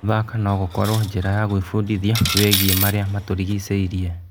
Gũthaka no gũkorwo njĩra ya gwĩbundithia wĩgiĩ marĩa matũrigicĩirie.